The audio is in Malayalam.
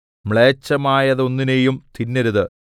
മ്ലേച്ഛമായതൊന്നിനെയും തിന്നരുത്